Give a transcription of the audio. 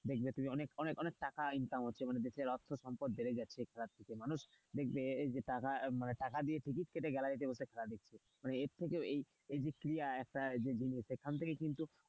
দেখবে তুমি অনেক অনেক টাকা income হচ্ছে দেশে অর্থ সম্পদ বেড়ে যাচ্ছে খেলা থেকে মানুষ দেখবে যে টাকা মানে টাকা দিয়ে টিকিট কেটে গাড়িতে বসে খেলা দেখছে। এর থেকে এই একটা জিনিস কিন্তু,